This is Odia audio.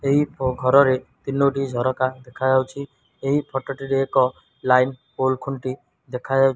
ଏହି ଘରରେ ତିନୋଟି ଝରକା ଦେଖା ଯାଉଛି ଏହି ଫଟୋ ଟିରେ ଏକ ଲାଇନ୍ ପୋଲ ଖୁଣ୍ଟି ଦେଖାଯାଉଛି।